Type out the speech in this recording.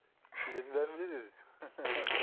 күйлердің бәрін біледі өзі